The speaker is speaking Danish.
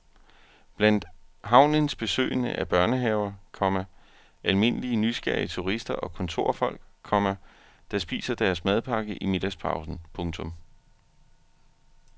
Blandt havnens besøgende er børnehaver, komma almindelige nysgerrige turister og kontorfolk, komma der spiser deres madpakke i middagspausen. punktum